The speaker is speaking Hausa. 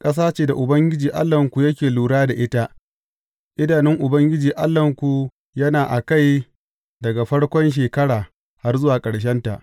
Ƙasa ce da Ubangiji Allahnku yake lura da ita; idanun Ubangiji Allahnku yana a kai daga farkon shekara har zuwa ƙarshenta.